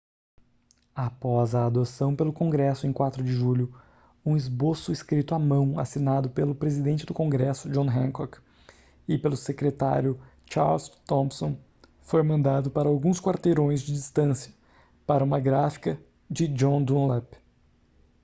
após a adoção pelo congresso em 4 de julho um esboço escrito à mão assinado pelo presidente do congresso john hancock e pelo secretário charles thomson foi mandado para alguns quarteirões de distância para uma gráfica de john dunlap